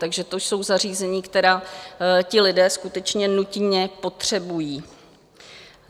Takže to jsou zařízení, která ti lidé skutečně nutně potřebují.